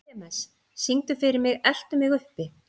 Klemens, syngdu fyrir mig „Eltu mig uppi“.